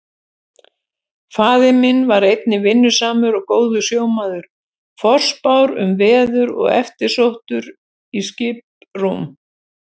Faðir minn var einnig vinnusamur og góður sjómaður, forspár um veður og eftirsóttur í skiprúm.